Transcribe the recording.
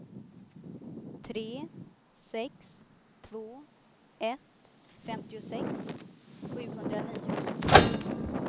tre sex två ett femtiosex sjuhundranio